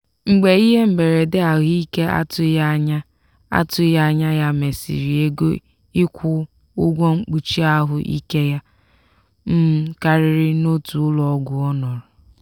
mgbe ihe mberede ahụike atụghị anya atụghị anya ya mesịrị ego ịkwụ ụgwọ mkpuchi ahụ ike ya um karịrị n'otu ụlọọgwụ ọnọrọ.